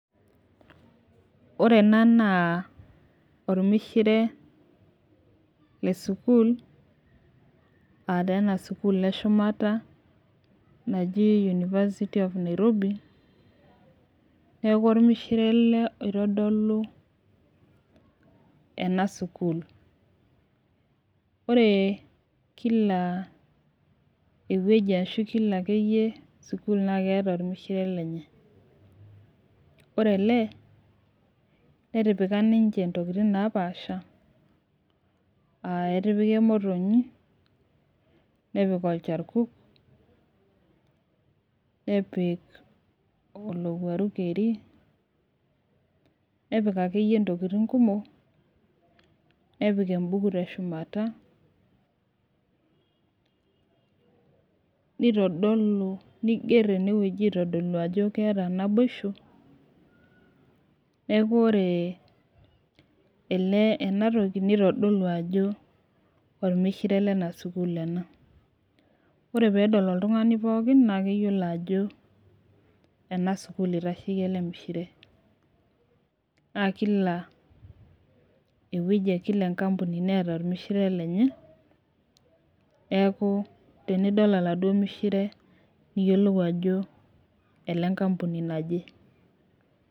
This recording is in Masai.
Ore ena naa olmishire le sukuul, aa taa ena sukuul eshumata naji university of Nairobi. neeku olmishire ele oitodolu ena sukuul. ore Kila ewueji ashu Kila akeyie sukuul naa keeta olmishire lenye. ore ele, netipika ninche ntokitin napaasha, aa etipika emotonyi. nepik olcharkuk, nepik olowuaru keri. nepik akeyie ntokitin kumok. nepik ebuku teshumata. neitodolu. niger ene wueji aitodolu ajo keeta naboisho. neeku ore ele, ena toki neitodolu ajo olmishire Lena sukuul ena. ore peedol oltungani pookin naa keyiolo ajo ena sukuul eitasheki ele mishire. naa Kila ewueji e Kila enkampuni neeta olmishire lenye, neeku tenidol oladuoo mishire niyiolou ajo ole nkampuni naje.